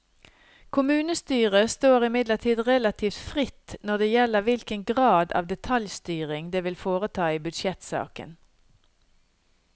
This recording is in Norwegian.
Kommunestyret står imidlertid relativt fritt når det gjelder hvilken grad av detaljstyring det vil foreta i budsjettsaken.